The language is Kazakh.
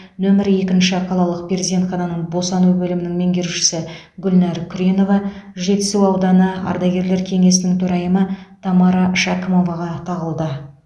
нөмірі екінші қалалық перзентхананың босану бөлімінің меңгерушісі гүлнар күренова жетісу ауданы ардагерлер кеңесінің төрайымы тамара шәкімоваға тағылды